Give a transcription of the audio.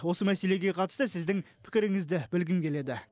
осы мәселеге қатысты сіздің пікіріңізді білгім келеді